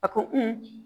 A ko